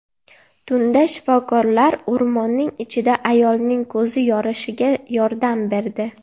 Tunda shifokorlar o‘rmonning ichida ayolning ko‘zi yorishiga yordam berdi.